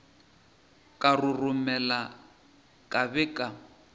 ka roromela ka be ka